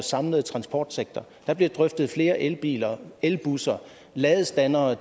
samlede transportsektor der blev drøftet flere elbiler elbusser ladestandere